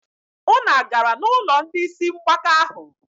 Unu agara n'ụlọ ndị isi mgbaka ahụ?